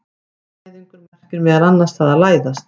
Læðingur merkir meðal annars það að læðast.